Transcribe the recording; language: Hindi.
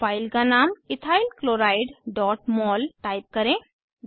फाइल का नाम इथाइल chlorideमोल टाइप करें